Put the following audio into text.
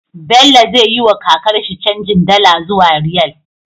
Bello zai yi wa kakar shi canjin dala zuwa riyal